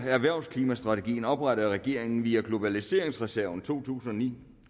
erhvervsklimastrategien oprettede regeringen via globaliseringsreserven to tusind og ni